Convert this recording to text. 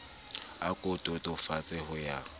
a ko totobatse ho ya